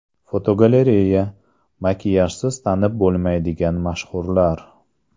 Fotogalereya: Makiyajsiz tanib bo‘lmaydigan mashhurlar.